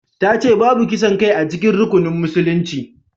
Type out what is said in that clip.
Ta ce babu kisan kai a cikin rukunan musulunci